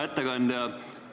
Hea ettekandja!